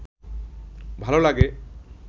ভাল লাগে?